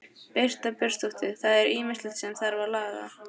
Birta Björnsdóttir: Það er ýmislegt sem þarf að laga?